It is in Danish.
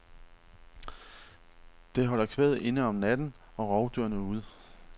Det holder kvæget inde om natten og rovdyrene ude.